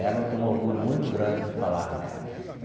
Dela eu tenho um orgulho muito grande de falar nela.